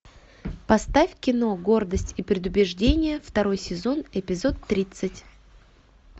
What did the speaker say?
поставь кино гордость и предубеждение второй сезон эпизод тридцать